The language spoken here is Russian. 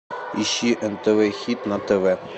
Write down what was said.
ищи нтв хит на тв